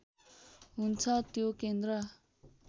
हुन्छ त्यो केन्द्र